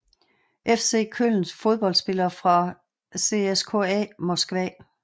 FC Köln Fodboldspillere fra CSKA Moskva